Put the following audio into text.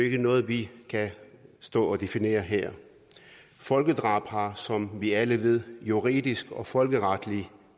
ikke noget vi kan stå og definere her folkedrab har som vi alle ved juridisk og folkeretlig